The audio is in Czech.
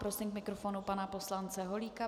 Prosím k mikrofonu pana poslance Holíka.